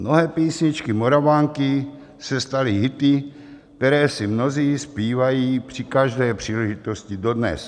Mnohé písničky Moravanky se staly hity, které si mnozí zpívají při každé příležitosti dodnes.